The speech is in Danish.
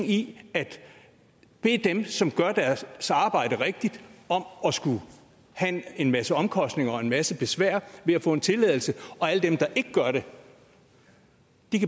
i at bede dem som gør deres arbejde rigtigt om at skulle have en masse omkostninger og en masse besvær ved at få en tilladelse og at alle dem der ikke gør det